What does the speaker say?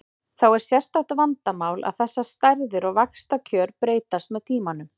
Þá er sérstakt vandamál að þessar stærðir og vaxtakjör breytast með tímanum.